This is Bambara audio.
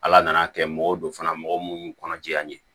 Ala nana kɛ mɔgɔ wo don fana mɔgɔ munnu kɔnɔ ja in ye